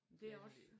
Det er også